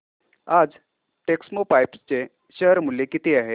आज टेक्स्मोपाइप्स चे शेअर मूल्य किती आहे